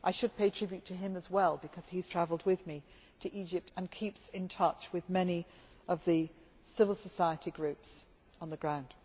I should pay tribute to him as well, because he has travelled with me to Egypt and keeps in touch with many of the civil society groups on the ground.